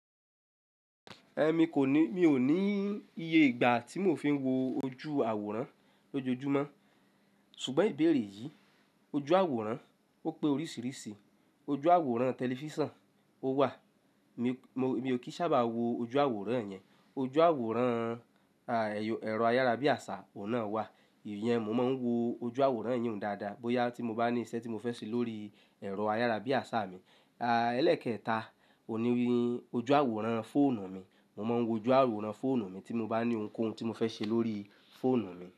Ẹ̀ mi kò ní, mi ò ní iye ìgbà tí mo fi ń wo ojú àwòrán lójoojúmọ́ ṣùgbọ́n ìbéèrè yìí, ojú àwòrán ó pé oríṣìíríṣìí. Ojú àwòrán tẹlifísàn, ó wà, mi, mo, mi ò kí sábà wo ojú àwòrán yẹn. Ojú àwòrán, ẹ̀rọ ayárabíàṣá ò náà wà, ìyẹn mo máa ń wo ojú àwòrán ìyẹn dáadáa bóyá tí mo bá ní iṣẹ́ tí mo fẹ́ ṣe lórí ẹ̀rọ ayárabíàṣá mi. Ẹlẹ́kẹta, òní ojú àwòrán fóònù mi, mo máa ń wo ojú àwòrán fóònù mi tí mo bá ní ohunkóhun tí mo fẹ́ ṣe lórí fóònù mi.